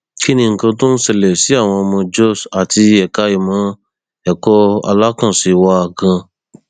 kí ni nǹkan tó ń ṣẹlẹ sí àwọn ọmọ jóṣ àti ẹka ìmọ ẹkọ alákànṣe wa gan